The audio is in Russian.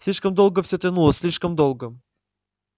слишком долго все тянулось слишком долго